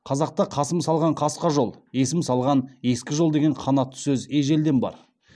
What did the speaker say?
қазақта қасым салған қасқа жол есім салған ескі жол деген қанатты сөз ежелден бар